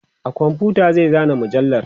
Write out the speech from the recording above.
a komfuta zai zana mujallar